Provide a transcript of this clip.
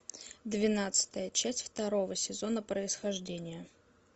двенадцатая часть второго сезона происхождение